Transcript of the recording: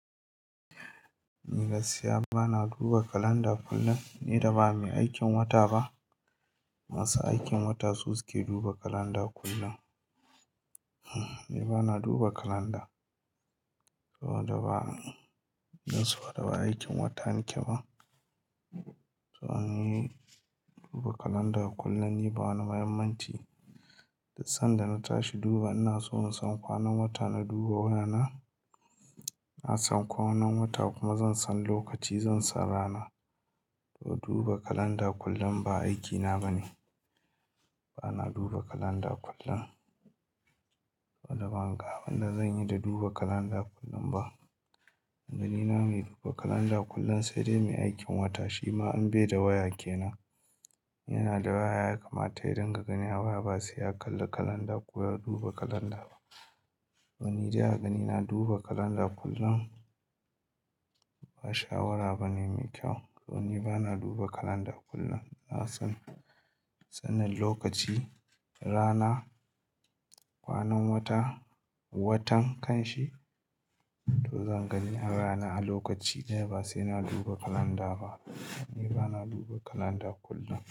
Ni gaskiya ba na duba kalanda kullum. Ni da ba ni aikin wata ba. Masu aikin wata su suke duba kalanda kullum. Ni ba na duba kalanda. Saboda ba, don saboda ba aikin wata nike ba. To an yi duba kalanda kullum ni ba wani muhimmanci. Da sanda na tashi duba ina so in san kwanan wata na duba wa yana. Na san kwanan wata kuma zan san lokaci zan san rana. To duba kalanda kullum ba aikina bane. Ba na duba kalanda kullum. Saboda ban ga abin da zanyi da duba kalanda kullum ba. Danina mai duba kalanda kullum sai dai mai aikin wata. Shi ma an beyar da waya ke nan. Yana da waya ya kamata idan ka gani a baya ba sai ya kalli kalanda ko ya duba kalanda ba. Wani da ya gani na duba kalanda kullum ba shawara bane mai kyau. To ni ba na duba kalanda kullum. Na san sanin lokaci, rana, kwanan wata, watan kan shi to zan gani a rana a lokaci dai ba sai na duba kalanda ba. Ni ba na duba kalanda kullum.